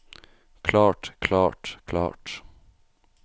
klart klart klart